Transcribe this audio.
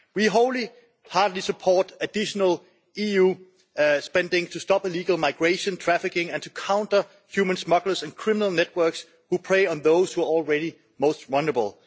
We wholeheartedly support additional EU spending to stop illegal migration, trafficking and to counter human smugglers and criminal networks who prey on those who are already most vulnerable.